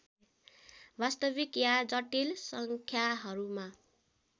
वास्तविक या जटिल सङ्ख्याहरूमा